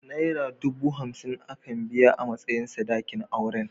Naira dubu hamsin aka biya a matsayin sadakin auren.